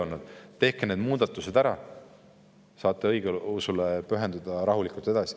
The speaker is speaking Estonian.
Me ütleme neile: "Tehke need muudatused ära, saate rahulikult õigeusule pühenduda.